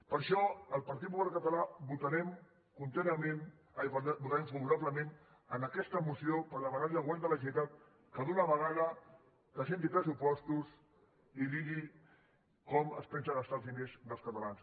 per això el partit popular català votarem favorablement a aquesta moció per demanar li al govern de la generalitat que d’una vegada presenti pressupostos i digui com es pensa gastar els diners dels catalans